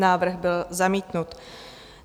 Návrh byl zamítnut.